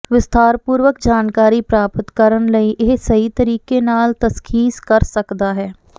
ਵਿਸਥਾਰਪੂਰਵਕ ਜਾਣਕਾਰੀ ਪ੍ਰਾਪਤ ਕਰਨ ਨਾਲ ਇਹ ਸਹੀ ਤਰੀਕੇ ਨਾਲ ਤਸ਼ਖ਼ੀਸ ਕਰ ਸਕਦਾ ਹੈ